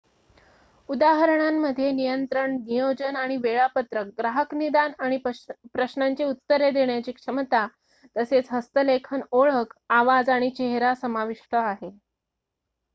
उदाहरणांमध्ये नियंत्रण नियोजन आणि वेळापत्रक ग्राहक निदान आणि प्रश्नांची उत्तरे देण्याची क्षमता तसेच हस्तलेखन ओळख आवाज आणि चेहरा समाविष्ट आहे